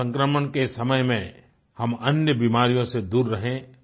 corona संक्रमण के समय में हम अन्य बीमारियों से दूर रहें